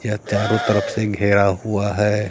यह चारों तरफ से घेरा हुआ है।